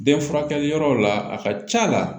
Den furakɛli yɔrɔ la a ka c'a la